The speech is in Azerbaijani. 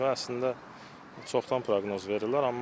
Əslində çoxdan proqnoz verirlər.